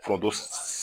Foronto